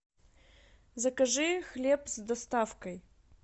закажи хлеб с доставкой